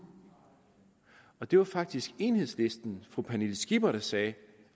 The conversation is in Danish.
det var faktisk enhedslistens fru pernille skipper der sagde